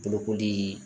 Bolokolii